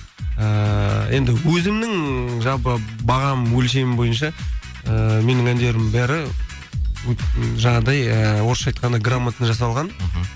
ыыы енді өзімнің жалпы бағам өлшемі бойынша ііі менің әндерімнің бәрі жаңағыдай ы орысша айтқанда грамотна жасалған мхм